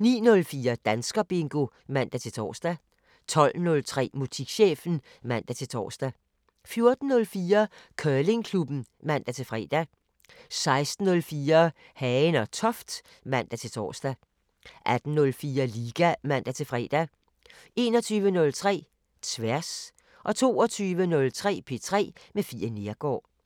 09:04: Danskerbingo (man-tor) 12:03: Musikchefen (man-tor) 14:04: Curlingklubben (man-fre) 16:04: Hagen & Toft (man-tor) 18:04: Liga (man-fre) 21:03: Tværs 22:03: P3 med Fie Neergaard